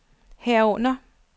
herunder